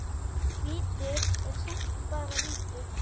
Víti er samt bara víti.